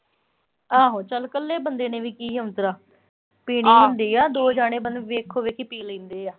ਆਹੋ ਚਲ ਕੱਲੇ ਬੰਦੇ ਨੇ ਵੀ ਕੀ ਬਣਾਉਣੀ ਚਾਹ। ਪੀਣੀ ਹੁੰਦੀ ਆ, ਦੋ ਜਣੇ ਵੇਖੋ-ਵੇਖ ਪੀ ਲੈਂਦੇ ਆ।